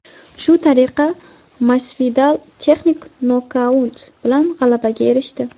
Shu tariqa Masvidal texnik nokaut bilan g‘alabaga erishdi.